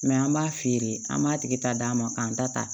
an b'a feere an b'a tigi ta d'a ma k'an ta ta